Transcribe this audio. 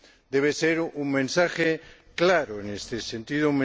Debe ser un mensaje claro en este sentido.